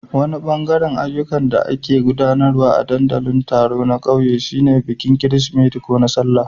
Wani bangare na ayyukan da ake gudanarwa a ɗandalin taro na kauye shine bikin Kirsimeti ko na Sallah.